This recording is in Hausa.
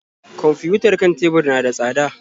Kwamfiyutar kan tebur na da tsada.